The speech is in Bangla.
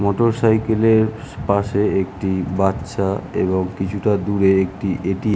মোটরসাইকেল - এর পাশে একটি বাচ্চা এবং কিছুটা দূরে একটি এটিএম ।